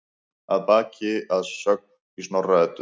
Að baki er sögn í Snorra-Eddu